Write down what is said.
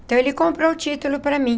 Então, ele comprou o título para mim.